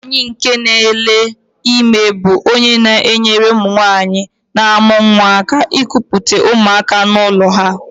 Nwaanyị nke nele ime bú ónyé na-enyere ụmụnwanyị n'amu nwa aka ekupute ụmụaka n'ụlọ ha.